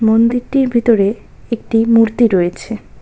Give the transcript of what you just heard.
মন্দিরটির ভিতরে একটি মূর্তি রয়েছে।